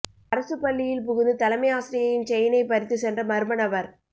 அரசு பள்ளியில் புகுந்து தலைமை ஆசிரியையின் செயினை பறித்து சென்ற மர்ம நபர்